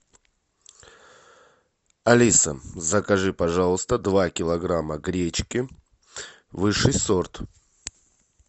алиса закажи пожалуйста два килограмма гречки высший сорт